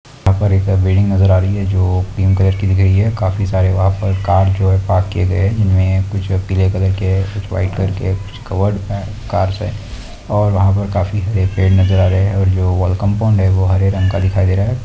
यहाँ पर एक बिल्डिंग नजर आ रही है जो पिंक कलर की दिख रही है काफी सारे वहाँ पर कार जो है पार्क किए गए है इनमें कुछ पीले कलर के है कुछ वाइट कलर के है कुछ कवर्ड है कार्स से और वहाँ पर काफी हरे पेड़ नजर आ रहे है और जो वल कम्पाउंड है वो हरे रंग का दिखाई दे रहा है।